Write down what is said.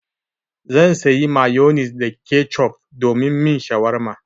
Zan sayi mayonis da kecof domin min shawarma.